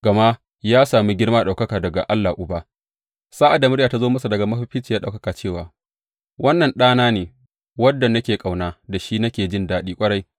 Gama ya sami girma da ɗaukaka daga Allah Uba sa’ad da murya ta zo masa daga Mafificiyar Ɗaukaka cewa, Wannan Ɗana ne, wanda nake ƙauna; da shi nake jin daɗi ƙwarai.